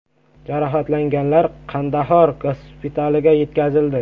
Jarohatlanganlar Qandahor gospitaliga yetkazildi.